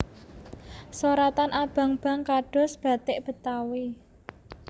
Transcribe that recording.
Soratan abang bang kados bathik Betawi